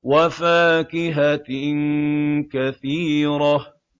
وَفَاكِهَةٍ كَثِيرَةٍ